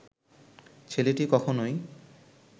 ছেলেটি কখনোই